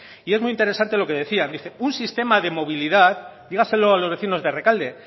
y es muy interesante lo que decían dice un sistema de movilidad dígaselo a los vecinos de rekalde